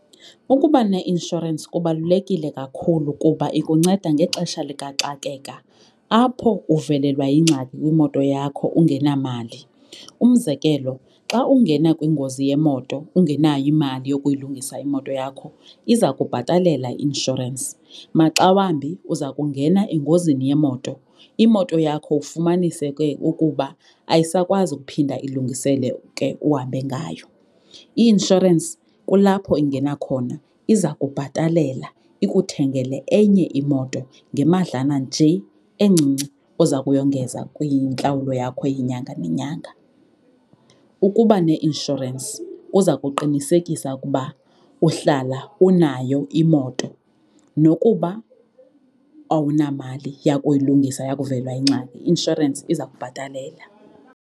Ukuba neinshorensi kubalulekile kakhulu kuba ikunceda ngexesha likaxakeka apho uvelelwa yingxaki kwimoto yakho ungenamali. Umzekelo, xa ungena kwingozi yemoto ungenayo imali yokuyilungisa imoto yakho iza kubhatalela i-inshorensi. Maxa wambi uza kungena engozini yemoto imoto yakho ufumanise ke ukuba ayisakwazi ukuphinda ilungiseleke uhambe ngayo. I-inshorensi kulapho ingena khona iza kubhatalela ikuthengele enye imoto ngemadlana nje encinci oza kuyongeza kwintlawulo yakho yenyanga nenyanga. Ukuba neinshorensi kuza kuqinisekisa ukuba uhlala unayo imoto nokuba awunamali yakuyilungisa yakuvelelwa yingxaki, i-inshorensi iza kubhatalela.